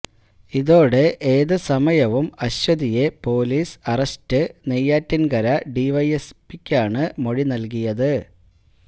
ഇതോടെ ഏത് സമയവും അശ്വതിയെ പൊലീസ് അറസ്റ്റ് നെയ്യാറ്റിൻകര ഡിവൈഎസ്പിക്കാണ് മൊഴി നൽകിയത്